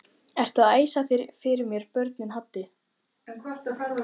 Ertu að æsa fyrir mér börnin Haddi!